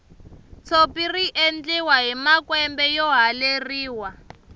tshopi riendliwa hi makwembe yo haleriwa